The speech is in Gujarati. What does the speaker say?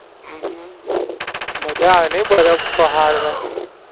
હમ મજા આવે ની બરફ પહાડ મેં?